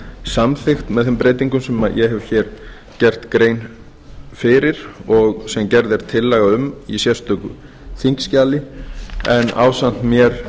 með þeim breytingum sem ég hef hér gert grein fyrir og sem gerð er tillaga um í sérstöku þingskjali en ásamt mér